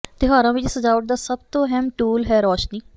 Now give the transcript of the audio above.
ਤਿਉਹਾਰਾਂ ਵਿਚ ਸਜਾਵਟ ਦਾ ਸੱਭ ਤੋਂ ਅਹਿਮ ਟੂਲ ਹੈ ਰੋਸ਼ਨੀ